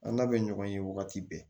An n'a bɛ ɲɔgɔn ye wagati bɛɛ